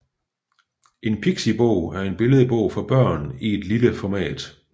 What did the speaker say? En pixibog er en billedbog for børn i et lille format